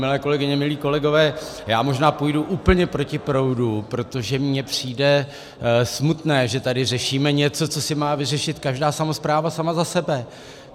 Milé kolegyně, milí kolegové, já možná půjdu úplně proti proudu, protože mně přijde smutné, že tady řešíme něco, co si má vyřešit každá samospráva sama za sebe.